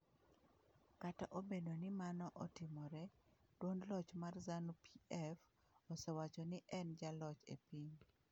Kata obedo ni mano otimore, duond loch mar Zanu-PF osewacho ni en jaloch e piny.